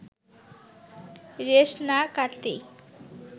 রেশ না কাটতেই